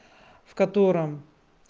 в котором